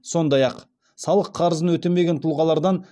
сондай ақ салық қарызын өтемеген тұлғалардан